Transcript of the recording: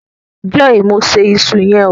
joy Mo ṣe iṣu yen hó.